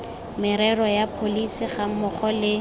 merero ya pholesi gammogo le